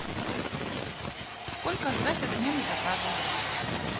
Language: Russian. сколько ждать отмены заказа